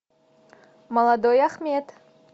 молодой ахмед